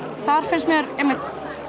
þar finnst mér einmitt